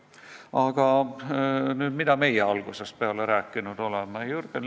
Aga nüüd, mida meie algusest peale rääkinud oleme?